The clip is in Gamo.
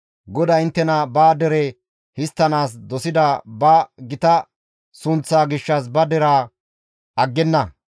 GODAY inttena ba dere histtanaas dosida ba gita sunththaa gishshas ba deraa aggenna.